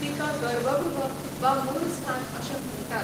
तिका गर्भ गृह वा मुळस्थान अशें म्हणटात.